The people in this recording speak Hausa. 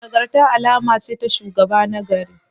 Nagarta alama ce ta shugaba nagari.